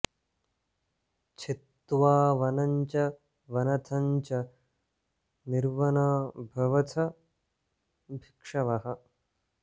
छित्त्वा वनं च वनथं च निर्वना भवथ भिक्षवः